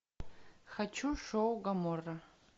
хочу шоу гоморра